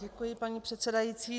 Děkuji, paní předsedající.